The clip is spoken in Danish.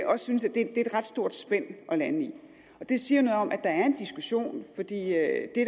synes at det er et ret stort spænd at lande på det siger noget om at der er en diskussion for det